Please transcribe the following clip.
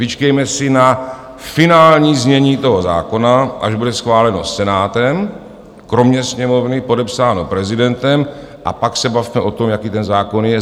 Vyčkejme si na finální znění toho zákona, až bude schváleno Senátem kromě Sněmovny, podepsáno prezidentem, a pak se bavme o tom, jaký ten zákon je.